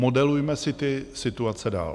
Modelujme si ty situace dál.